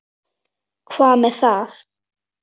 Hvað með það?